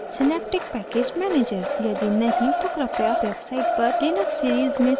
यदि नहीं तो कृपया website पर लिनक्स series में सम्बंधित tutorials को देखें